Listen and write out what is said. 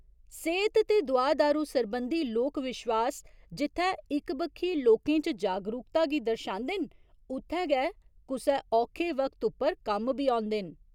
सेह्त ते दुआ दारू सरबंधी लोक विश्वास जित्थै इक बक्खी लोकें च जागरुकता गी दर्शांदे न उत्थै गै कुसै औखे वक्त उप्पर कम्म बी औंदे न।